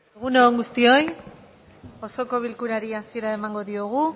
egun on guztioi osoko bilkurari hasiera emango diogu